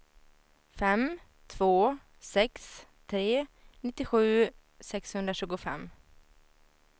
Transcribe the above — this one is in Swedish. fem två sex tre nittiosju sexhundratjugofem